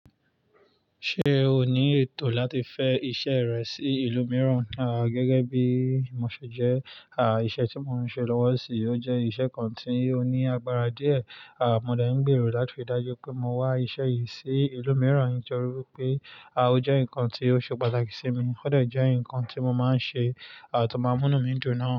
Ṣé o ní ètò láti fẹ́ iṣẹ́ rẹ sí ìlú mìíràn? Àh! Gẹ́gẹ́ bí mo ṣe jẹ, à, iṣẹ́ tí mo ń ṣe lọ́wọ́ n sin yi, ó jẹ́ iṣẹ́ kan tí ó ní agbára díẹ̀. À, mo dẹ́ ń gbèrò láti ri dájú wipé mo wá iṣẹ́ yìí sí ìlú mìíràn nitorí pé, à, ó jẹ́ nǹkan tí ó ṣe pàtàkì sí mi, ó de jẹ́ nǹkan tí mo máa ń ṣe, à, tó máa mú mí dùn náà.